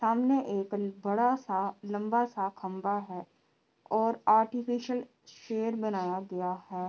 सामने एक बड़ा सा लम्बा सा खम्भा है । और आर्टिफिसियल शेर बनाया गया है ।